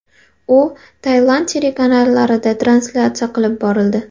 U Tailand telekanallarida translyatsiya qilib borildi.